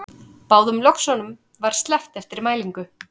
Báðum löxunum var sleppt eftir mælingu